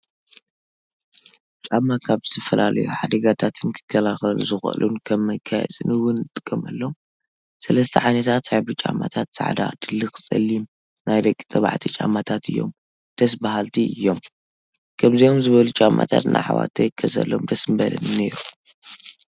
ጫማ፦ ካብ ዝተፈላለዩ ሓደጋታትን ክከላከሉ ዝኽእሉን ከም መጋየፂን እውን እንጥቀመሎም ፤ ሰለስተ ዓይነታት ሕብሪ ጫማታት ፃዕዳ ፣ ድልኽ ፣ ፀሊም ፣ ናይ ደቂ ተባዕትዮ ጫማታት እዮም ደስ በሃልቲ እዮም። ከምዚኣም ዝበሉ ጫማታት ንኣሕዋተይ ክገዘኣሎም ደስ ምበለኒ ነይሩ።